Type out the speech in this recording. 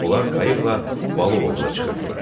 Onlar qayıqla balıq ovuna çıxırdılar.